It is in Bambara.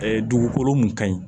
dugukolo mun ka ɲi